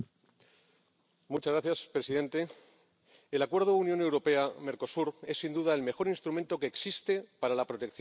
Señor presidente, el acuerdo Unión Europea Mercosur es, sin duda, el mejor instrumento que existe para la protección de los bosques del Amazonas.